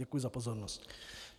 Děkuji za pozornost.